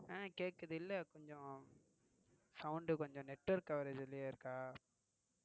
அஹ் கேக்குது இல்ல கொஞ்சம் sound கொஞ்சம் network coverage லேயே இருக்கா.